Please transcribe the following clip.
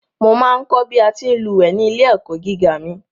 Mo ma ń kọ̀ bí a ti ń lúwẹ̀ẹ́ ní ilé-ẹ̀kọ́ gíga mi.